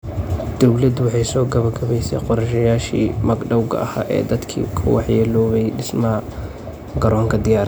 Dawladdu waxay soo gabagabaysay qorshayaashii magdhowga ahaa ee dadkii ku waxyeeloobay dhismaha garoonka diyaarada.